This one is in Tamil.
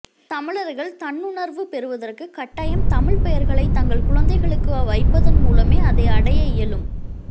தமிழர்கள் தன்னுணர்வு பெறுவதற்கு கட்டாயம் தமிழ்ப் பெயர்களை தங்கள் குழந்தைகளுக்கு வைப்பதன் மூலமே அதை அடைய இயலும்